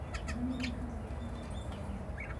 Nyoni nĩ irathũkia mĩmera mũgũnda